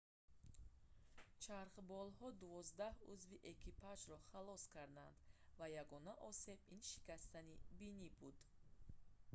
чархболҳо дувоздаҳ узви экипажро халос карданд ва ягона осеб ин шикастани бинӣ буд